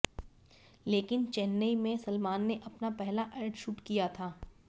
लेकिन चेन्नई में सलमान ने अपना पहला एड शूट किया था